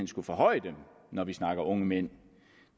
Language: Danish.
skulle forhøje dem når vi snakker om unge mænd